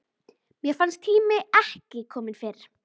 Mér fannst tíminn ekki kominn fyrr.